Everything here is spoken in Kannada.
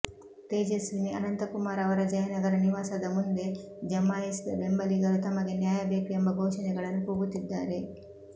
ತೇಜಸ್ವಿನಿ ಅನಂತಕುಮಾರ್ ಅವರ ಜಯನಗರ ನಿವಾಸದ ಮುಂದೆ ಜಮಾಯಿಸಿದ ಬೆಂಬಲಿಗರು ತಮಗೆ ನ್ಯಾಯ ಬೇಕು ಎಂಬ ಘೋಷಣೆಗಳನ್ನು ಕೂಗುತ್ತಿದ್ದಾರೆ